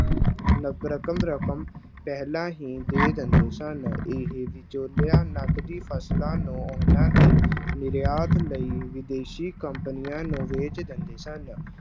ਰਕਮ ਰਕਮ ਪਹਿਲਾਂ ਹੀ ਦੇ ਦਿੰਦੇ ਸਨ ਇਹ ਵਿਚੋਲਿਆਂ ਨਕਦੀ ਫਸਲਾਂ ਨੂੰ ਉਹਨਾਂ ਦੇ ਨਿਰਯਾਤ ਲਈ ਵਿਦੇਸ਼ੀ ਕੰਪਨੀਆਂ ਨੂੰ ਵੇਚ ਦਿੰਦੇ ਸਨ।